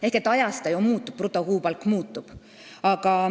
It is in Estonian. Ehk ajas see muutub, sest brutokuupalk muutub.